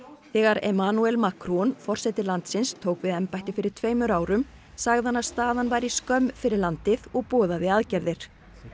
þegar Macron forseti landsins tók við embætti fyrir tveimur árum sagði hann að staðan væri skömm fyrir landið og boðaði aðgerðir